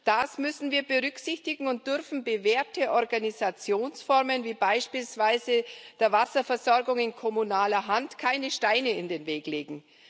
Das müssen wir berücksichtigen und dürfen bewährten Organisationsformen, wie beispielsweise der Wasserversorgung in kommunaler Hand, keine Steine in den Weg legen.